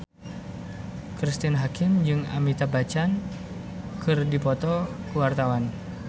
Cristine Hakim jeung Amitabh Bachchan keur dipoto ku wartawan